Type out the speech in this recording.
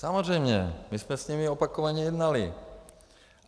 Samozřejmě, my jsme s nimi opakovaně jednali.